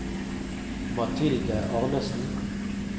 Mathilde Arnesen